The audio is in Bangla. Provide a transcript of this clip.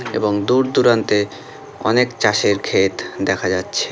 এবং দূরদূরান্তে অনেক চাষের ক্ষেত দেখা যাচ্ছে ।